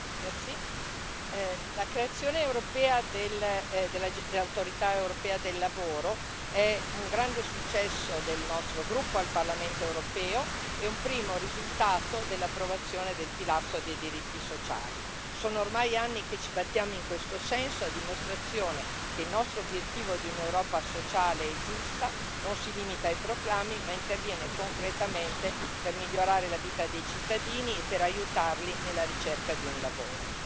Signora Presidente, onorevoli colleghi, la creazione europea dell'Autorità europea del lavoro è un grande successo del nostro gruppo al Parlamento europeo e un primo risultato dell'approvazione del pilastro dei diritti sociali. Sono ormai anni che ci battiamo in questo senso, a dimostrazione che il nostro obiettivo di un'Europa sociale e giusta non si limita ai proclami, ma interviene concretamente per migliorare la vita dei cittadini e per aiutarli nella ricerca di un lavoro.